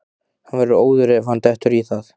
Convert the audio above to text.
Hann verður óður ef hann dettur í það!